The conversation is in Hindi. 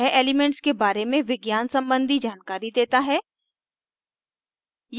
यह एलीमेन्ट्स के बारे में विज्ञान सम्बन्धी जानकारी देता है